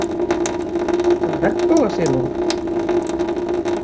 Ræktaði hún einhvern regnbogasilung?